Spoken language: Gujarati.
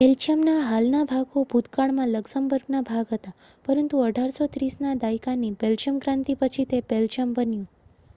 બેલ્જિયમના હાલના ભાગો ભૂતકાળમાં લક્ઝમબર્ગના ભાગ હતા પરંતુ 1830ના દાયકાની બેલ્જિયમક્રાંતિ પછી તે બેલ્જિયમ બન્યું